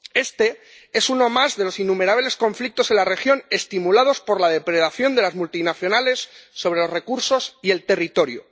Este es uno más de los innumerables conflictos en la región estimulados por la depredación de las multinacionales sobre los recursos y el territorio.